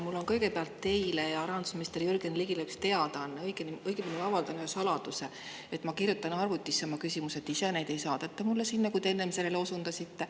Mul on kõigepealt teile ja rahandusminister Jürgen Ligile üks teadaanne, õigemini ma avaldan ühe saladuse: ma kirjutan arvutisse oma küsimused ise, neid ei saadeta mulle sinna, nagu te enne osundasite.